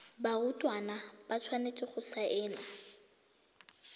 barutwana ba tshwanetse go saena